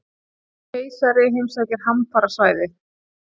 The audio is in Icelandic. Keisari heimsækir hamfarasvæði